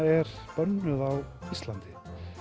er bönnuð á Íslandi